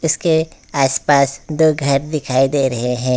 इसके आस पास दो घर दिखाई दे रहे हैं।